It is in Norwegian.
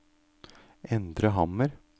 Endre Hammer